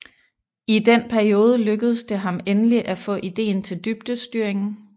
I den periode lykkedes det ham endelig at få ideen til dybdestyringen